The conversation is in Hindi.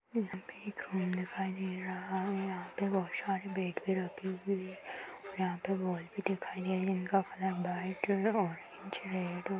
यहाँ पर एक रूम दिखाई दे रहा है। यहाँ पर बोहोत सारे बेड भी रखे हुए हैं और यहाँ पर बॉल भी दिखाई दे रही है। इनका कलर वाइट और ओरेंज रेड -